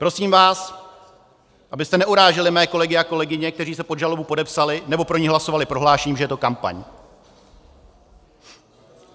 Prosím vás, abyste neuráželi mé kolegy a kolegyně, kteří se pod žalobu podepsali nebo pro ni hlasovali, prohlášením, že je to kampaň.